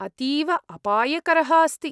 अतीव अपायकरः अस्ति।